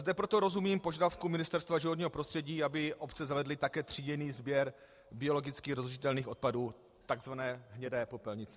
Zde proto rozumím požadavku Ministerstva životního prostředí, aby obce zavedly také tříděný sběr biologicky rozložitelných odpadů, takzvané hnědé popelnice.